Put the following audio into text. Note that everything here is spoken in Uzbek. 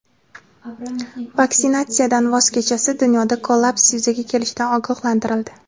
Vaksinatsiyadan voz kechilsa, dunyoda kollaps yuzaga kelishidan ogohlantirildi.